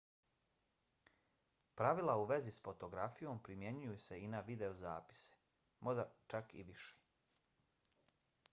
pravila u vezi s fotografijom primjenjuju se i na videozapise možda čak i više